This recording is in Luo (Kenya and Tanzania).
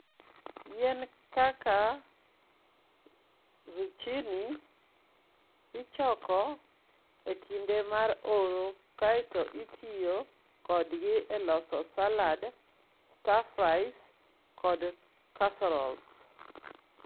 Yien kaka zucchini ichoko e kinde mar oro kae to itiyo kodgi e loso salads, stir-fries, kod casseroles.